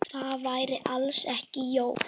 Það væri alls ekki Jói.